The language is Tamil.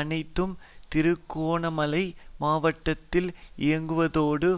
அனைத்தும் திருகோணமலை மாவட்டத்தில் இயங்குவதோடு